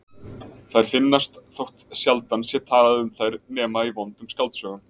Þær finnast þótt sjaldan sé talað um þær nema í vondum skáldsögum.